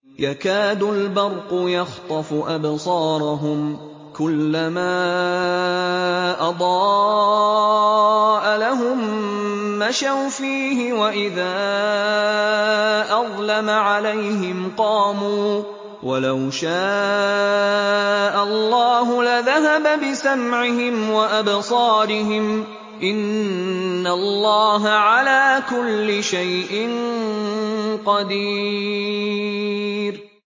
يَكَادُ الْبَرْقُ يَخْطَفُ أَبْصَارَهُمْ ۖ كُلَّمَا أَضَاءَ لَهُم مَّشَوْا فِيهِ وَإِذَا أَظْلَمَ عَلَيْهِمْ قَامُوا ۚ وَلَوْ شَاءَ اللَّهُ لَذَهَبَ بِسَمْعِهِمْ وَأَبْصَارِهِمْ ۚ إِنَّ اللَّهَ عَلَىٰ كُلِّ شَيْءٍ قَدِيرٌ